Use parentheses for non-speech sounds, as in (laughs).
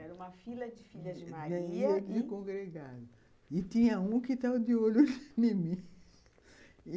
Era uma fila de filhas de Maria e congregadas... E tinha um que estava de olho em mim. (laughs)